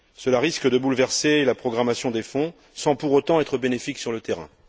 Cela risque de bouleverser la programmation des fonds sans pour autant être bénéfique sur le terrain.